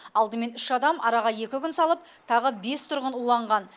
алдымен үш адам араға екі күн салып тағы бес тұрғын уланған